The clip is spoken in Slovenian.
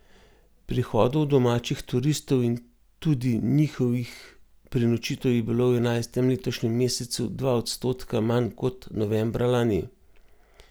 Prihodov domačih turistov in tudi njihovih prenočitev je bilo v enajstem letošnjem mesecu dva odstotka manj kot novembra lani.